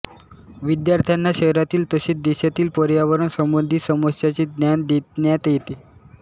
विद्यार्थ्यांना शहरातील तसेच देशातील पर्यावरण संबधित समस्यांचे ज्ञान देण्यात येते